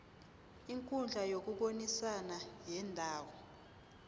ikundla yokubonisana yendawo